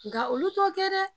Nga olu t'o kɛ dɛ